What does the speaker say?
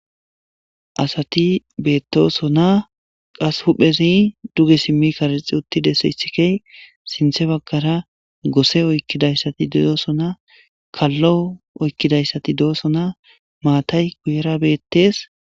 asati beettosona qas huphezi duge simmi karixi uttide se isikey sinthe baggara goose oykkidayssati de'osona kallo oykkidayssati do7osona maatay guyera beettees